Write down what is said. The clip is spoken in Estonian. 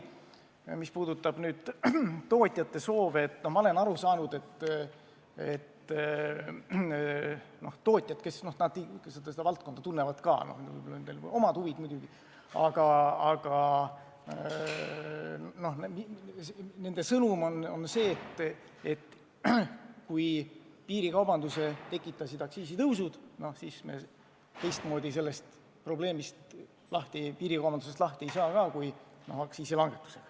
Mis puudutab tootjate soove, siis ma olen nii aru saanud, et tootjad, kes seda valdkonda tunnevad – neil võivad ka olla omad huvid muidugi –, arvavad, et kui piirikaubanduse tekitasid aktsiisitõusud, siis me teistmoodi piirikaubandusest lahti ei saa kui aktsiisilangetusega.